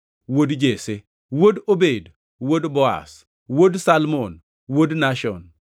wuod Jesse, wuod Obed, wuod Boaz, wuod Salmon, wuod Nashon,